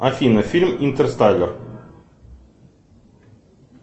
афина фильм интерстеллар